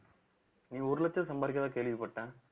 நீ ஒரு லட்சம் சம்பாரிக்கிறதா கேள்விப்பட்டேன்